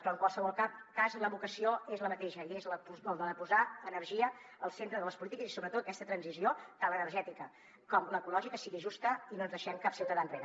però en qualsevol cas la vocació és la mateixa i és la de posar energia al centre de les polítiques i sobretot que aquesta transició de l’energètica com l’ecològica sigui justa i no ens deixem cap ciutadà enrere